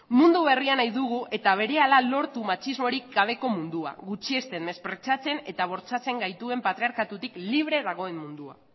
mundu berria nahi dugu eta berehala lortu matxismorik gabeko mundua gutxiesten mespreziatzen eta bortxatzen gaituen patriarkatutik libre dagoen mundua